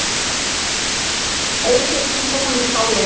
Eysteinn Gíslason í Skáleyjum